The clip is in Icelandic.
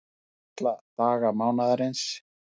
Unnið alla daga mánaðarins